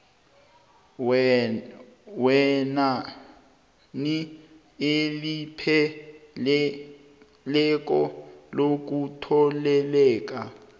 wenani elipheleleko lokutheleleka